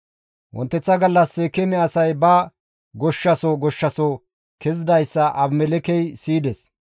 Wonteththa gallas Seekeeme asay ba goshshaso goshshaso kezidayssa Abimelekkey siyides.